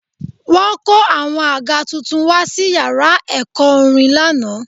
Wọ́n kó àwọn àga tuntun wá sí yàrá ẹ̀kọ́ orin lánàá